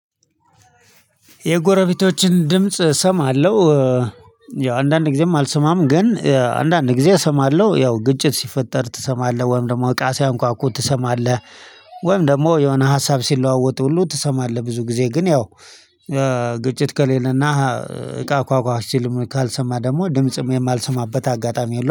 የጎረቤቶችን ድምጽ እሰማለሁ። ያው አንዳንድ ጊዜም አልሰማም ግን አንዳንድ ጊዜ እሰማለሁ ያው ግጭት ሲፈጠር ትሰማለህ ወይም ደግሞ እቃ ሲያንኳኩ ትሰማለህ። ወይም ደግሞ የሆነ ሀሳብ ሲለዋወጥ ሁሉ ትሰማለህ ብዙ ጊዜ ግን ያው ግጭት ከሌለና እቃ ኳኳሽ ሲል ካልሰማ ደግሞ ድምጽም የማልሰማበት አጋጣሚ የለውም